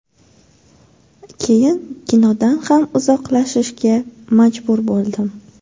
Keyin kinodan ham uzoqlashishga majbur bo‘ldim.